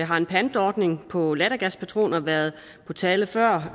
har en pantordning på lattergaspatroner været på tale før